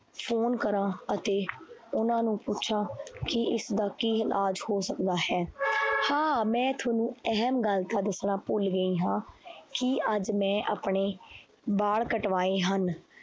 Phone ਕਰਾਂ ਅਤੇ ਉਹਨਾਂ ਨੂੰ ਪੁੱਛਾਂ ਕਿ ਇਸਦਾ ਕੀ ਇਲਾਜ ਹੋ ਸਕਦਾ ਹੈ ਹਾਂ ਮੈਂ ਤੁਹਾਨੂੰ ਅਹਿਮ ਗੱਲ ਤਾਂ ਦੱਸਣਾ ਭੁੱਲ ਗਈ ਹਾਂ ਕਿ ਅੱਜ ਮੈਂ ਆਪਣੇ ਬਾਲ ਕਟਵਾਏ ਹਨ।